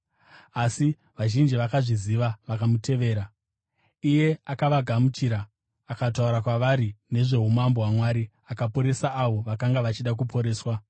asi vazhinji vakazviziva vakamutevera. Akavagamuchira akataura kwavari nezvoumambo hwaMwari, akaporesa avo vakanga vachida kuporeswa.